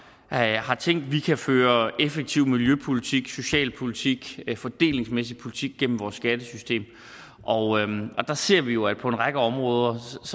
at have tænkt vi kan føre effektiv miljøpolitik socialpolitik fordelingsmæssig politik gennem vores skattesystem og der ser vi jo at på en række områder